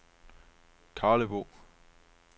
Karlebo